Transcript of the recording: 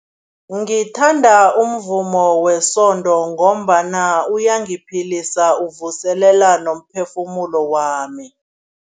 Ngithanda umvumo wesonto ngombana uyangiphilisa, uvuselela nomphefumulo wami.